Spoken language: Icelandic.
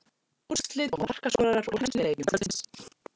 Úrslit og markaskorarar úr helstu leikjum kvöldsins: